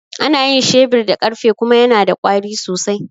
Ana yin shebir da ƙarfe kuma yana da ƙwari sosai.